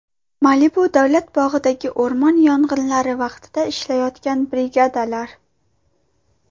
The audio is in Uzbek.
Malibu davlat bog‘idagi o‘rmon yong‘inlari vaqtida ishlayotgan brigadalar.